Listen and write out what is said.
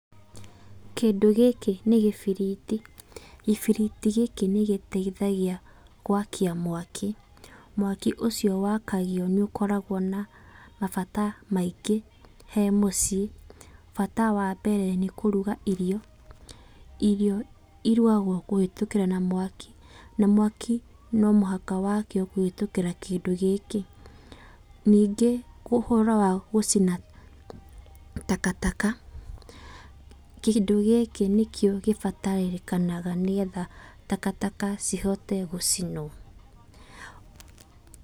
Kĩndũ gĩkĩ nĩ kĩbiriti. Gĩbiriti gĩkĩ nĩ gĩteithagia gwakia mwaki. Mwaki ũcio wakagio nĩ ũkoragwo na mabata maingĩ he mũciĩ. Bata wa mbere nĩ kũruga irio. Irio irugagwo kũhetũkĩra na mwaki, na mwaki no mũhaka wakio kũhetũkĩra kĩndũ gĩkĩ. Nĩngĩ ũhoro wa gũcina takataka. Kĩndũ gĩkĩ nĩkĩo gĩbatarĩkanaga nĩgetha takataka cihote gũcinwo.